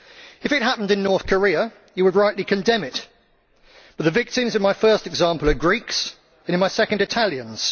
If it happened in North Korea you would rightly condemn it, but the victims in my first example are Greeks, and in my second, Italians.